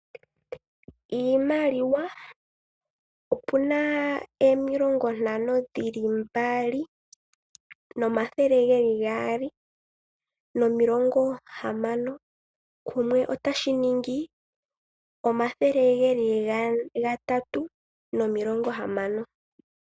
Iimaliwa opuna omilongo ntano dhili mbali, nomathele ngeli gaali nomilonga hamano, kumwe otashi ningi omathele gatatu nomilongo hamano.